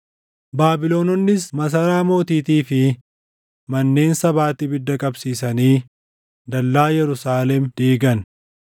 Baabilononnis masaraa mootiitii fi manneen sabaatti ibidda qabsiisanii dallaa Yerusaalem diigan.